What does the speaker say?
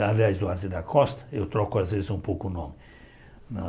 Aliás, na Duarte da Costa, eu troco às vezes um pouco o nome.